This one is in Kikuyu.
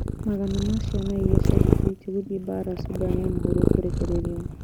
Magana ma ciana iria ciandĩkithĩtio gũthiĩ mbaara Sudan ya mũhuro kũrekererio